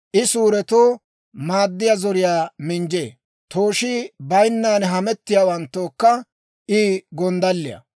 I suuretoo maaddiyaa zoriyaa minjjee; tooshii bayinnan hamettiyaawanttookka I gonddalliyaa.